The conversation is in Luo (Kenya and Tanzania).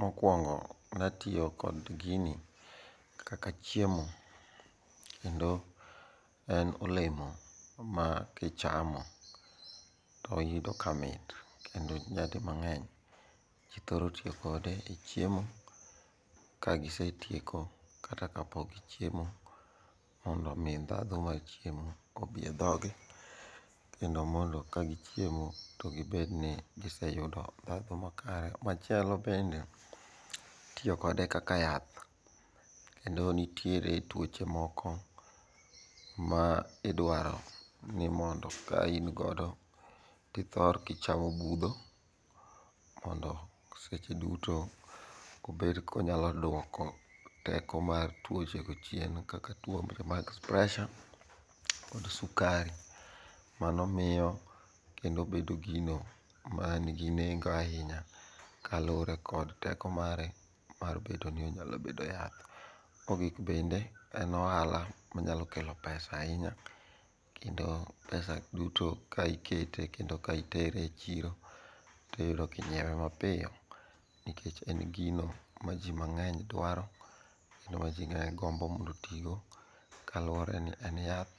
Mokwongo natiyo kod gini kaka chiemo kendo en olemo ma kichamo to iyudo kamit kendo nyadimang'eny ji thoro tiyo kode e chiemo kagisetieko kata kapok gichiemo, mondo omi ndhadhu mar chiemo obi e dhoge kendo mondo ka gichiemo to gibed ni giseyudo ndhadhu makare. Machielo bende, itiyo kode kaka yath kendo nitiere tuoche moko ma iduaro ni mondo ka in godo tithor kichamo budho mondo seche duto obed konyalo duoko teko mar tuoche go chien kaka tuo mag presha kod sukari. Mano miyo kendo bedo gino manigi nengo ahinya kaluwore kod teko mare mar bedo ni onyalo bedo yath. Mogik bende, en ohala manyalo kelo pesa ahinya kendo pesa duto ka ikete kendo ka itere e chiro tiyudo kinyiewe mapiyo nikech en gino ma ji mang'eny dwaro kendo ma ji ng'enyne gombo mondo otigo kaluwore ni en yath